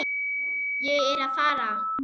Ég er að fara.